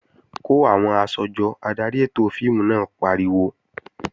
Kó àwọn aṣọ jọ! Adarí ètò fíìmù náà pariwo.